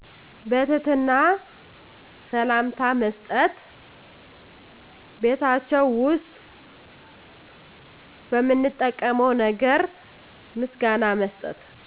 በትህትና ሰላምታ መስጠት ቤታቸው ውስጥ በምንጠቀመው ነገር ምስጋና መስጠት